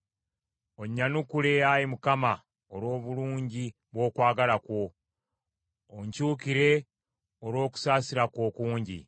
Onnyanukule, Ayi Mukama olw’obulungi bw’okwagala kwo; onkyukire olw’okusaasira kwo okungi.